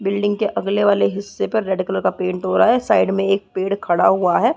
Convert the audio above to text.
Building के अगले वाले हिस्से पर रेड कलर का पेंट हो रहा है साइड में एक पेड़ खड़ा हुआ है ।